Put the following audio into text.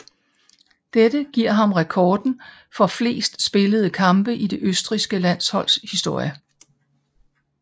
Dette giver ham rekorden for flest spillede kampe i det østrigske landsholds historie